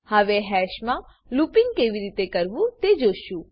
હવે હેશમાં લૂપીંગ કેવી રીતે કરવું તે જોશું